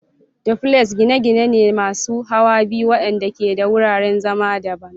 Duplexes gine-gine ne masu hawa biyu waɗanda ke da wuraren zama daban.